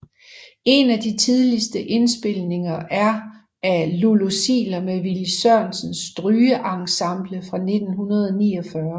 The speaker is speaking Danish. En af de tidligste indspilninger er af Lulu Ziegler med Willy Sørensens Strygeensemble fra 1949